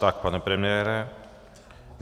Tak, pane premiére.